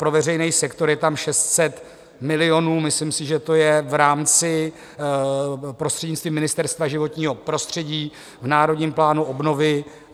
Pro veřejný sektor je tam 600 milionů, myslím si, že to je v rámci, prostřednictvím Ministerstva životního prostřední v národním plánu obnovy.